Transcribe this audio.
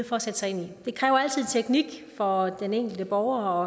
for at sætte sig ind i det kræver altid teknik for den enkelte borger